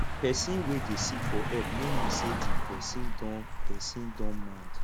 pesin wey dey seek for help no mean say di pesin don pesin don mad